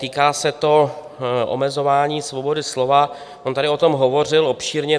Týká se to omezování svobody slova, on tady o tom hovořil obšírně.